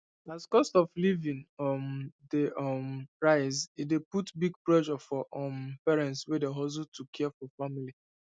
as cost of living um dey um rise e dey put big pressure for um parents wey dey hustle to care for family